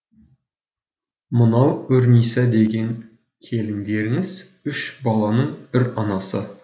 мынау үрниса деген келіндеріңіз үш баланың үр анасы